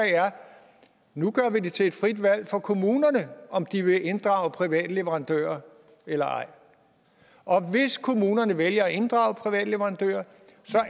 nu gør vi det til et frit valg for kommunerne om de vil inddrage private leverandører eller ej og hvis kommunerne vælger at inddrage private leverandører